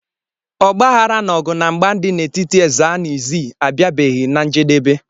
Ogbahara na ogu na mgba di na etiti Ezza na Izzi abiabeghi na njedebe